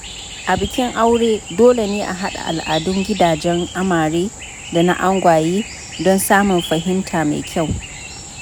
A bikin aure, dole ne a haɗa al’adun gidajen amare da angwaye don samun fahimta mai kyau.